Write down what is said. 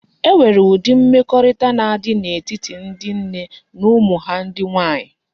E nwere udi mmekorita na adi na etiti ndi nne na umu ha ndi nwanyi